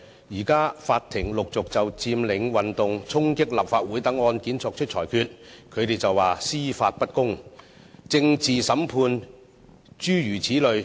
現在法庭陸續就佔領運動、衝擊立法會等案件作出裁決，他們便說司法不公、政治審判，諸如此類。